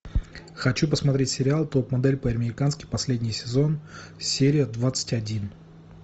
хочу посмотреть сериал топ модель по американски последний сезон серия двадцать один